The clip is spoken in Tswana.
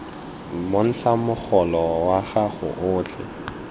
bontsha mogolo wa gago otlhe